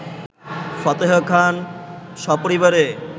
ফতেহ খান, সপরিবারে